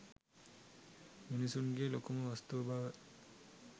මිනිසුන්ගේ ලොකුම වස්තුව බව